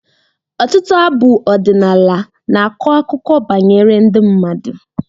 Ọtụtụ abụ ọdịnala na-akọ akụkọ banyere ndị mmadụ.